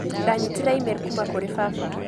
Ndanyitire e-mail kuuma kũrĩ baba.